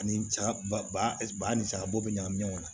Ani saga ba ani sagabɔ bɛ ɲagami ɲɔgɔn na